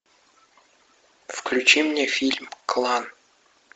включи мне фильм клан